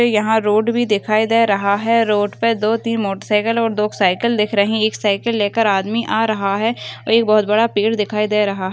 यहाँ रोड भी दिकाई दे रहा है रोड पे दो तीन मोटर और दो साइकिल दिक रही है एक साइकिल लेकर आदमी आ रहा है एक बहुत बड़ा पेड़ भी दिकाई दे रहा --